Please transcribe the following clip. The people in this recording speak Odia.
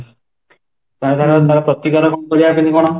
ତା ଥିରେ ଆମେ ପ୍ରତିକାର କରିବା କେମିତି କ'ଣ ?